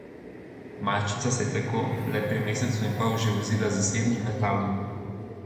Malčica se je tako le pri mesecu in pol že vozila z zasebnim letalom.